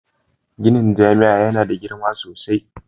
Ginin jami'a yana da girma sosai.